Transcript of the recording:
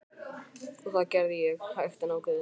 Og það gerði ég, hægt en ákveðið.